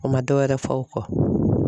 O ma dɔwɛrɛ fɔ o kɔ.